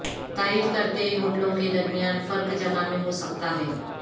تعریف کرتے ہوٹلوں کے درمیان فرق جگہ میں ہو سکتا ہے